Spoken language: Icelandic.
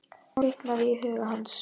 Ný von kviknaði í huga hans.